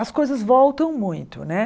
As coisas voltam muito, né?